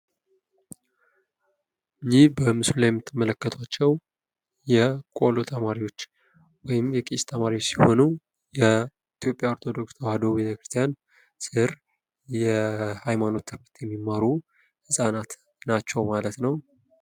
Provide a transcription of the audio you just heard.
ይህ በምስሉ ላይ የምትመለከቱዋቸው የቆሎ ተማሪዎች ወይም የቄስ ተማሪዎች ሲሆኑ የኢትዮጵያ ኦርቶዶክስ ተዋሕዶ ቤተክርስቲያን ስር የሀይማኖት ትምህርት የሚማሩ ህፃናት ናቸው ማለት ነው ።